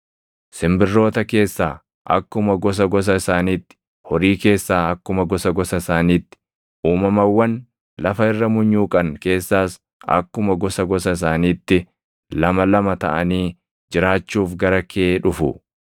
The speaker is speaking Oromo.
Simbirroota keessaa akkuma gosa gosa isaaniitti, horii keessaa akkuma gosa gosa isaaniitti, uumamawwan lafa irra munyuuqan keessaas akkuma gosa gosa isaaniitti, lama lama taʼanii jiraachuuf gara kee dhufu.